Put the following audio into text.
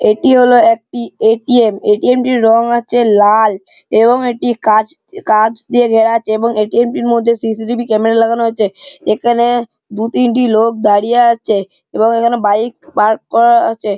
এটি হলো একটি এ.টি.এম. । এ.টি.এম. -টির রং আছে লাল এবং একটি কাচ কাচ দিয়ে ঘেরা আছে এবং এ.টি.এম. -টির মধ্যে সি.সি টি.ভি ক্যামেরা লাগানো আছে । এখানে দু-তিনটি লোক দাঁড়িয়ে আছে এবং বাইক পার্ক করানো আছে।